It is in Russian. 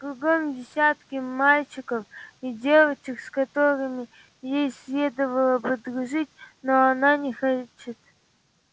кругом десятки мальчиков и девочек с которыми ей следовало бы дружить но она не хочет